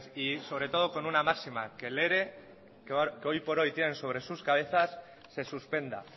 y sobre todo con una máxima que el ere que hoy por hoy tienen sobre sus cabezas se suspenda